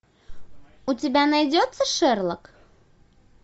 у тебя найдется шерлок